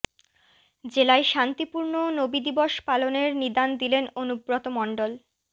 জেলায় শান্তিপূর্ণ নবি দিবস পালনের নিদান দিলেন অনুব্রত মণ্ডল